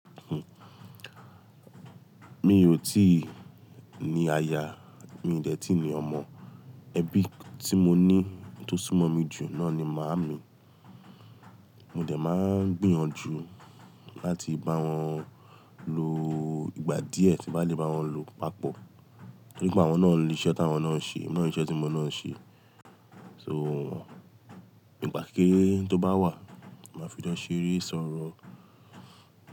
Mi ò tí ì ní aya, mi dẹ̀ tí ní ọmọ. Ẹbí tí mo ní tó sún mọ́ mi jù náà ni màámi. Mo dẹ̀ máa ń gbìyànjú láti bá wọn lo ìgbà díẹ̀ tí màá le bá wọn lo, pàpọ̀. Nípa àwọn náà ni iṣẹ́ táwọn náà ń ṣe, iná ni iṣẹ́ tí emi náà ń ṣe. So, nípa kẹrẹ́ tó bá wà, màá fi dá ṣeré sọ̀rọ̀